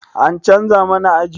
An canza mana aji?